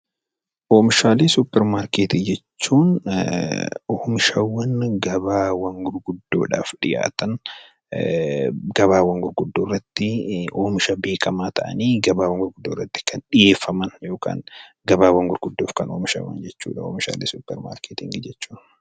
Oomishaalee suuparmaarketii jechuun oomishawwan gabaawwan gurguddoodhaaf dhiyaatan, gabaawwan gurguddoo irratti oomisha beekamaa ta'anii gabaawwan gurguddoo irratti kan dhiyeeffaman yookaan gabaawwan gurguddoof kan oomishaman jechuudha oomishaalee suuparmaarketii jechuun.